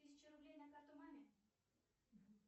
тысячу рублей на карту маме